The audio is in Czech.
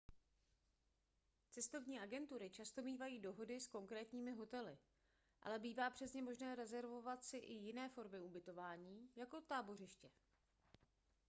cestovní agentury často mívají dohody s konkrétními hotely ale bývá přes ně možné rezervovat si i jiné formy ubytování jako tábořiště